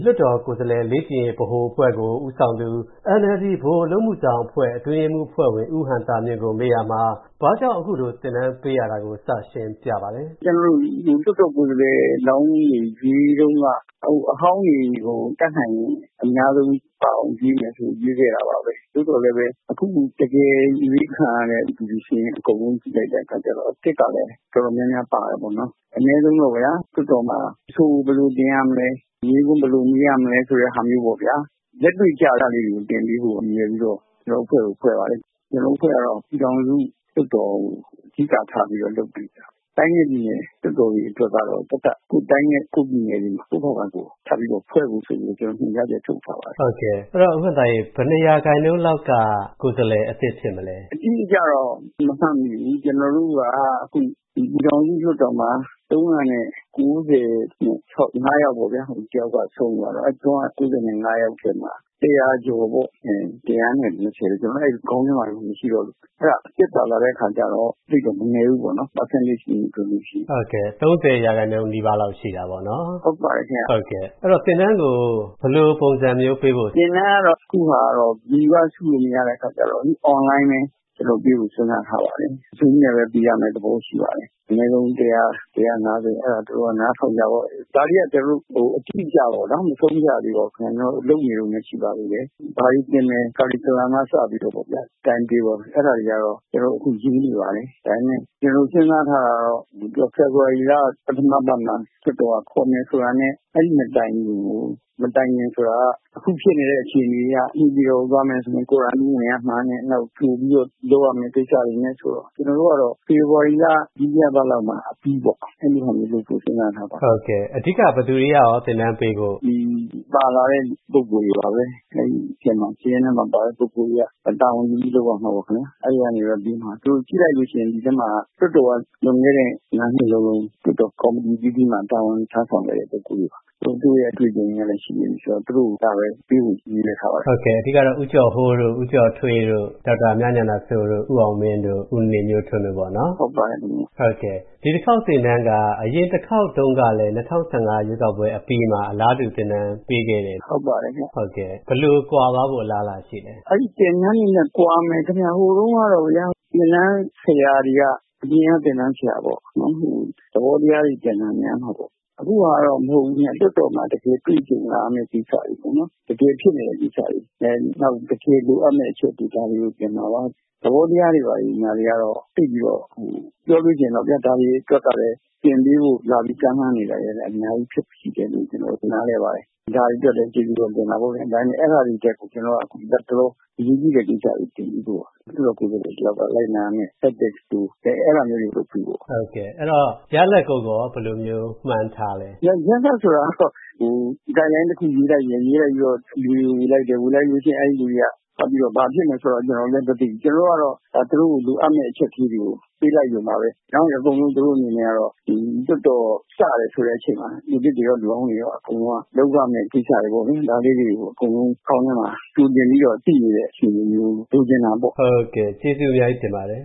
လွှတ်တော်ကိုယ်စားလှယ်လောင်းတွေရွေးတုံးက၊ အဟောင်းတွေကို တတ်နိုင်ရင် အများဆုံးပါအောင်ရွေးမယ်ဆို ရွေးခဲ့တာပါပဲ။ သို့သော်လည်း အခုတကယ်အရွေးခံရတဲ့ လူတွေစာရင်း အကုန်လုံးကြည့်လိုက်တဲ့အခါကျတော့၊ အသစ်ကလည်း တော်တော်များများပါတယ်ပေါ့နော်။ အနည်းဆုံးတော့ဗျာ၊ လွှတ်တော်မှာ အဆိုဘယ်လိုတင်ရမလဲ၊ မေးခွန်းဘယ်လိုမေးရမလဲ၊ ဆိုတဲ့ဟာမျိုးပေါ့ဗျာ၊ လက်တွေ့ကျတာမျိုးလေးတွေသင်ပေးဖို့ ရည်ရွယ်ပြီးတော့ ကျွန်တော်တို့ အဖွဲ့ကို ဖွဲ့ပါတယ်။ ကျွန်တော်တို့အဖွဲ့ကတော့ ပြည်ထောင်စုလွှတ်တော်ကို အဓိကထားပြီး လုပ်ပေးနေတာပေါ့။ တိုင်းနဲ့ပြည်နယ်လွှတ်တော်တွေအတွက်ကတော့ သပ်သပ်၊ ကိုယ့်တိုင်းနဲ့ ကိုယ့်ပြည်နယ်တွေမှာ ကိုယ့်ဟာကိုယ် ထပ်ပြီးတော့ ဖွဲ့ဖို့ဆိုပြီးတော့၊ ကျွန်တော်တို့ ညွှန်ကြားချက်ထုတ်ထားပါတယ်။ ဘယ်နှစ်ရာခိုင်နှုန်းလောက်က လွှတ်တော်ကိုယ်စားလှယ်အသစ်ဖြစ်မလဲ။ အတိအကျတော့မမှတ်မိဘူး။ ကျွန်တော်တို့က အခု ပြည်ထောင်စုလွှတ်တော်မှာ ၃၉၅ ယောက်ပေါ့ဗျာ၊ ၃၉၆ မှာ တစ်ယောက်က ဆုံးသွားလို့။ အဲ့ဒိ ၃၉၅ ယောက်ထဲမှာ ၁၀၀ ကျော်ပေါ့၊ အဲ ၁၂၀၊ ကျွန်တော်လည်း အဲ့လို ခေါင်းထဲမှာမရှိတော့လို့။ အဲ့ဒါ အသစ်ပါလာတဲ့အခါကျတော့ သိပ်တော့ မနည်းဘူးပေါ့၊ ရာခိုင်နှုန်း အနေနဲ့ တွက်လို့ရှိရင်။ ၃၀% လောက်ရှိတာပေါ့နော်။ အဲ့ဒီတော့၊ သင်တန်းကို ဘယ်လိုပုံစံမျိုးပေးဖို့။ သင်တန်းကတော့ အခုဟာက လူကစုလို့မရတဲ့အခါကျတော့၊ Online ပဲ ပေးဖို့ စဉ်းစားထားပါတယ်။ Zoom နဲ့ပဲ ပေးရမဲ့ သဘောရှိပါတယ်။ အနည်းဆုံး ၁၀၀-၁၅၀ အဲဒါ သူတိုက အဲ့ဒီက နားထောင်ကြပေါ့ဗျာ။ ဒါတွေက အတိအကျတော့ ကျွန်တော်တို့ မဆုံးဖြတ်ရသေးပါဘူးပေါ့နော်၊ လုပ်နေတုံးပဲရှိပါသေးတယ်။ ဘာတွေသင်မယ် Curriculum က စပြီးတော့၊ Time-table အဲ့ဒါတွေကတော့၊ ကျွန်တော်တို့ အခုရေးနေပါတယ်။ ဒါပေမဲ့ ကျွန်တော်တို့ စဉ်းစားထားတာကတော့၊ သူက ဖေဖော်ဝါရီလ ပထမပတ်မှာ လွှတ်တော်က ခေါ်မယ်ဆိုတာနဲ့၊ အဲ့ဒိ မတိုင်ခင်ကို၊ မတိုင်ခင်ဆိုတာက အခုဖြစ်နေတဲ့ အခြေအနေအရ၊ နေပြည်တော်ကို သွားမယ်ဆိုရင်၊ Quarantine ဝင်ရမှာနဲ့၊ နောက် ကြိုပြီးတော့ လုပ်ရမဲ့ကိစ္စတွေနဲ့ဆိုတော့၊ ကျွန်တော်တို့ကတော့၊ ဖေဖော်ဝါရီလ ဒုတိယပတ်လောက်မှာအပြီးပေါ့၊ အဲ့လိုဟာမျိုးလုပ်ဖို့ စဉ်းစားထားပါတယ်။ အဓိက ဘယ်သူတွေက သင်တန်းပေးဖို့။ ဒီပါလာတဲ့ ပုဂ္ဂိုလ်တွေပါပဲ။ အဲ့ဒိထဲမှာ စာရင်းထဲမှာပါတဲ့ ပုဂ္ဂိုလ်တွေက၊ တာဝန်ယူပြီးလုပ်ရမှာပေါ့၊ အဲ့ဒိကနေပြီးတော့ သင်မှာ။ ကြည့်လိုက်လို့ရှိရင်တော့ ဒီအထဲမှာ လွှတ်တော်က လွန်ခဲ့တဲ့ ၅ နှစ်လုံးလုံး၊ လွှတ်တော်ကော်မတီအသီးသီးမှာ တာဝန်ထမ်းဆောင်ခဲ့တဲ့ ပုဂ္ဂိုလ်တွေပါ။ သူတို့ရဲ့အတွေ့အကြုံတွေလည်းရှိနေပြီဆိုတော့၊ သူတို့ကပဲ ပေးဖို့ ရည်ရွယ်ထားပါတယ်။ အဓိကတော့ အခုထုတ်ပြန်တဲ့လေ့ကျင့်ရေးအဖွဲ့စာရင်းထဲမှာပါတဲ့၊ ကျန်တဲ့ ဦးကျော်ဟိုးတို့၊ ဦးကျော်ထွေးတို့၊ ဒေါက်တာမြဉာဏစိုး၊ ဦးအောင်မင်း၊ ဦးနေမျိုးထွန်းတို့ပေါ့နော်။ ဟုတ်ပါတယ်။ ဒီတစ်ခေါက်သင်တန်းက၊ အရင်တစ်ခေါက်တုံးကလည်း ၂၀၁၅ ရွေးကောက်ပွဲအပြီးမှာလည်း အလားတူသင်တန်ပေးခဲ့တော့၊ အခုက ဘယ်လိုကွာသွားဖို့ အလားအလာရှိလဲ။ အဲ့ဒိသင်တန်းတွေနဲ့ ကွာမယ်။ ဟိုတုံးကတော့ အရင်က သင်တန်းဆရာတွေက၊ အပြင်က သင်တန်းဆရာတွေပေါ့။ သဘောတရားတွေသင်တာများမှာပေါ့။ အခုဟာကတော့ အဲ့ဒိလိုမဟုတ်တော့ဘူးခင်ဗျ၊ လွှတ်တော်မှာ တကယ်တွေ့ကြုံလာရမဲ့ ကိစ္စတွေပေါ့နော်၊ တကယ်ဖြစ်နေတဲ့ ကိစ္စတွေ၊ နောက် တကယ်လိုအပ်မဲ့အချက်တွေ၊ ဒါတွေကို သင်မှာပါ။ သဘောတရားတွေဘာတွေညာတွေကတော့ သိပ်ပြီးတော့၊ ဟို ပြောလို့ှရှိရင်တော့ဗျာ၊ ဒါတွေအတွက်ကလည်း သင်ပေးဖို့ လာပြီး ကမ်းလှမ်းနေတာတွေကလည်း အများကြီးရှိတယ်လို့ ကျွန်တော်တို့ နားလည်ပါတယ်။ ဒါတွေအတွက်လည်း ကျေးဇူးတော့ တင်တာပေါ့ဗျာ။ ဒါပေမဲ့ အဲ့ဒါတွေထက်ကို၊ ကျွန်တော်တို့က လတ်တလော အရေးကြီးတဲ့ ကိစ္စတွေသင်ပေးဖို့ပါ။ လွှတ်တော်ကိုယ်စားလှယ် တစ်ယောက်က လိုက်နာရမဲ့ Ethics တို့၊ အဲ့ဒါမျိုးတွေကို လုပ်ပေးဖို့ပါ။ ရလဒ်ကိုရော ဘယ်လိုမျိုး မှန်းထားလဲ။ ရလဒ်ဆိုတာကတော့ ဟို Guide Line တစ်ခုရေးလိုက်တယ်၊ ရေးလိုက်ပြီးတော့ လူတွေကို ဝေလိုက်တယ်။ ဝေလိုက်လို့ရှိရင်၊ အဲ့ဒိလူတွေက ဖတ်ပြီးတော့ ဘာဖြစ်မယ်ဆိုတာကိုလည်း ကျွန်တော်တို့လည်းမသိဘူး။ ကျွန်တော်တို့ကတော့၊ ဒါ သူတို့ကို လိုအပ်မဲ့ အချက်ကလေးတွေကို ပေးလိုက်ရုံပါပဲနော်။ အကုန်လုံး သူတို့အနေနဲ့ကတော့၊ ဒီလွှတ်တော် စတယ်ဆိုတဲ့အချိန်မှာ၊ လူသစ်တွေရော၊ လူဟောင်းတွေရော၊ အကုန်လုံးက လုပ်ရမဲ့ ကိစ္စတွေပေါ့ဗျာ၊ ဒါလေးတွေကို အကုန်လုံးခေါင်းထဲမှာ ကြိုတင်ပြီးတော့ သိနေတဲ့ အခြေအနေမျိုး လိုချင်တာပေါ့။ ကျေးဇူးအများကြီးတင်ပါတယ်